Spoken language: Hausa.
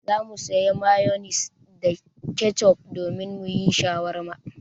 Za mu sayi mayonis da kecof domin mu yi shawarma.